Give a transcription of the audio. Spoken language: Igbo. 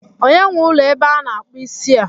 Onye nwe ụlọ ebe a na-akpụ isi a?